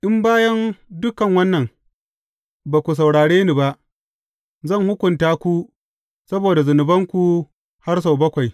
In bayan dukan wannan, ba ku saurare ni ba, zan hukunta ku saboda zunubanku har sau bakwai.